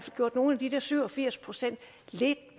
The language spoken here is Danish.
gjort nogle af de der syv og firs procent lidt